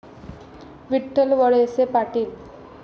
Vitthal Walse Patil